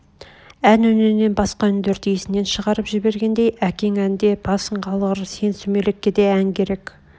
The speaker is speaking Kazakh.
ән үнінен басқа үндерді есінен шығарып жібергендей әкең әнде басың қалғыр сен сүмелекке де ән керек